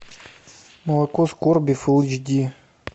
молоко скорби фул эйч ди